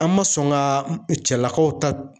An ma sɔn ka cɛlakaw ta